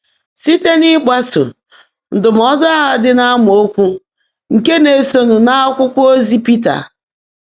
Síte n’ị́gbásó ndụ́mọ́dụ́ áhụ́ ḍị́ n’ámaókwụ́ ndị́ ná-èsóńụ́ n’ákwụ́kwọ́ ózí Pị́tà.